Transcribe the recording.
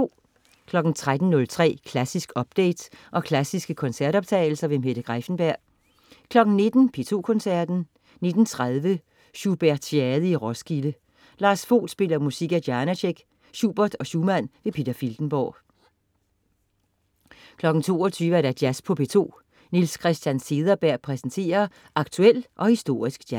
13,03 Klassisk update og klassiske koncertoptagelser. Mette Greiffenberg 19.00 P2 Koncerten. 19.30 Schubertiade i Roskilde. Lars Vogt spiller musik af Janaáek, Schubert og Schumann. Peter Filtenborg 22.00 Jazz på P2. Niels Christian Cederberg præsenterer aktuel og historisk jazz